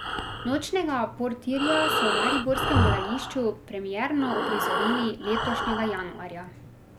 Nočnega portirja so v mariborskem gledališču premierno uprizorili letošnjega januarja.